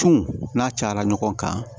Tun n'a cayara ɲɔgɔn kan